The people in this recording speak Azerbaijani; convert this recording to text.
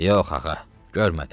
Yox, axı, görmədim.